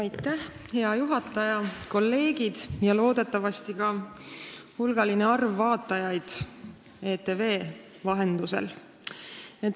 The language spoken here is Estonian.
Hea juhataja, kolleegid ja loodetavasti ka hulk vaatajaid ETV vahendusel!